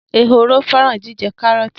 Ehoro fẹran jijẹ karọọti.